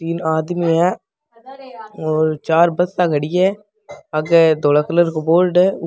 तीन आदमी है और चार बसा खड़ी है आगे डोरा कलर को बोर्ड है ऊ --